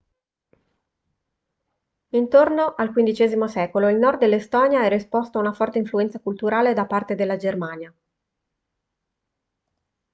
intorno al xv secolo il nord dell'estonia era esposto a una forte influenza culturale da parte della germania